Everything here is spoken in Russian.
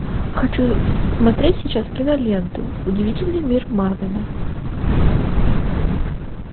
хочу смотреть сейчас киноленту удивительный мир марвена